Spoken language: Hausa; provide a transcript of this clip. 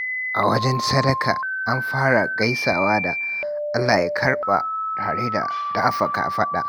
A wajen sadaka, an fara gaisuwa da "Allah ya karɓa," tare da dafa kafaɗa.